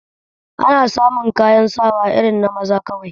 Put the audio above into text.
Ana samu kayan sawa irin na maza kawai